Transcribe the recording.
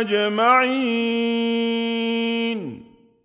أَجْمَعِينَ